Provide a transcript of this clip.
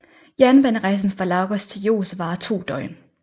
Jernbanerejsen fra Lagos til Jos varer to døgn